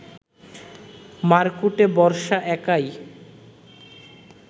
মারকুটে বর্ষা একাই